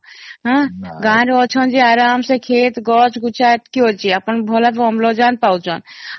ଆଁ ଗାଁ ରେ ଆଚ୍ଛନ ଯେ ଆରମ୍ଭ ସେ ଭଲ କ୍ଷେତ ଗଛ ଗୁଚ୍ଛା କେ ଅଛି ଆପଣ ଭଲ କେ ଅମ୍ଳଜାନ ପାଉଛେନ